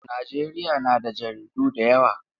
Najeriya na da jaridu da yawa.